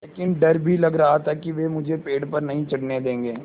लेकिन डर भी लग रहा था कि वे मुझे पेड़ पर नहीं चढ़ने देंगे